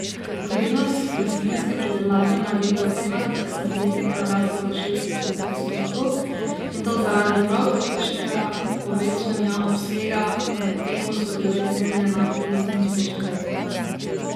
Vrednost rastlinske pridelave naj bi po ocenah statistike narasla za šest odstotkov, in to zaradi prav tolikšnega povečanja obsega, medtem ko so bile cene enake tistim iz prejšnjega leta.